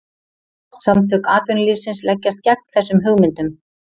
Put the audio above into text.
Samtök atvinnulífsins leggjast gegn þessum hugmyndum